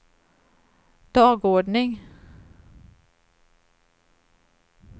dagordning